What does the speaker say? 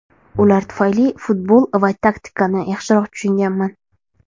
Ular tufayli futbol va taktikani yaxshiroq tushunganman”.